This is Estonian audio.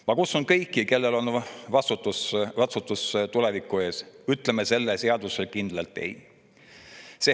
Ma kutsun üles kõiki, kes vastutust tuleviku ees, et ütleme sellele seadusele kindlalt ei.